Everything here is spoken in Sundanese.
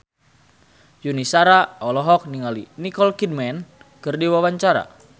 Yuni Shara olohok ningali Nicole Kidman keur diwawancara